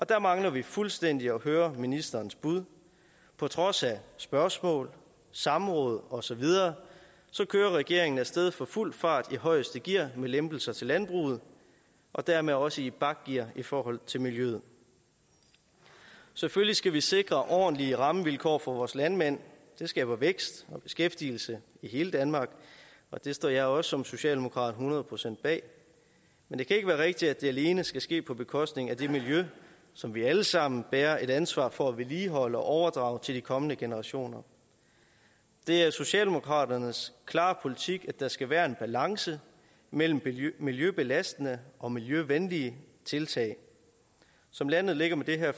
der mangler vi fuldstændig at høre ministerens bud på trods af spørgsmål samråd og så videre kører regeringen af sted for fuld fart i højeste gear med lempelser til landbruget og dermed også i bakgear i forhold til miljøet selvfølgelig skal vi sikre ordentlige rammevilkår for vores landmænd det skaber vækst og beskæftigelse i hele danmark og det står jeg også som socialdemokrat hundrede procent bag men det kan ikke være rigtigt at det alene skal ske på bekostning af det miljø som vi alle sammen bærer et ansvar for at vedligeholde og overdrage til de kommende generationer det er socialdemokraternes klare politik at der skal være en balance mellem miljøbelastende og miljøvenlige tiltag som landet ligger med det her